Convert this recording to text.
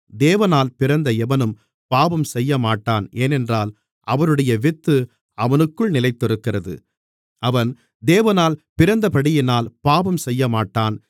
தேவனால் பிறந்த எவனும் பாவம் செய்யமாட்டன் ஏனென்றால் அவருடைய வித்து அவனுக்குள் நிலைத்திருக்கிறது அவன் தேவனால் பிறந்தபடியினால் பாவம் செய்யமாட்டான்